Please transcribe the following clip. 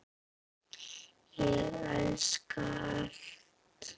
Ég elska allt.